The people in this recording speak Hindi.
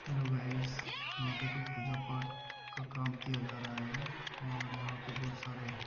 हेलो गाइज यहाँ पे कुछ पूजा पाठ का काम किया जा रहा है और यहाँ पे बहुत सारे --